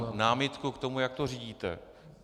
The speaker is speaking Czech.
Já mám námitku k tomu, jak to řídíte.